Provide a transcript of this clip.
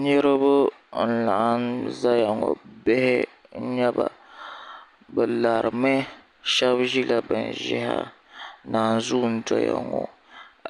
niriba n-laɣim zaya ŋɔ bihi n-nyɛ ba bɛ lari mi shɛba ʒila bin ʒehi nanzuu n-doya ŋɔ